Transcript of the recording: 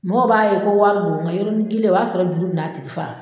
Mɔgɔw b'a ye ko wa yɔrɔnin kelen o b'a sɔrɔ juru bɛ n'a tigi faga.